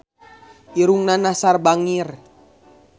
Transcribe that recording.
Irungna Nassar bangir